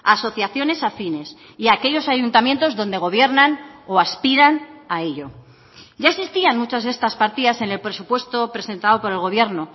asociaciones afines y aquellos ayuntamientos donde gobiernan o aspiran a ello ya existían muchas de estas partidas en el presupuesto presentado por el gobierno